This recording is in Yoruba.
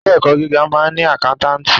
Ilé ẹ̀kọ́ gíga máa ń ni àkántàntì.